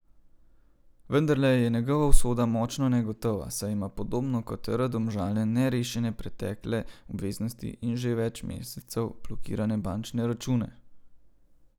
Vendarle je njegova usoda močno negotova, saj ima podobno kot R Domžale nerešene pretekle obveznosti in že več mesecev blokirane bančne račune.